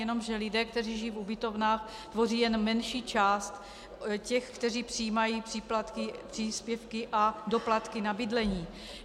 Jenomže lidé, kteří žijí v ubytovnách, tvoří jen menší část těch, kteří přijímají příplatky, příspěvky a doplatky na bydlení.